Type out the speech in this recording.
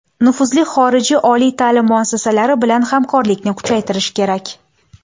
Nufuzli xorijiy oliy ta’lim muassasalari bilan hamkorlikni kuchaytirish kerak.